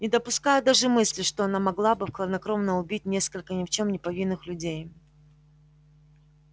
не допускаю даже мысли что она могла бы хладнокровно убить несколько ни в чём не повинных людей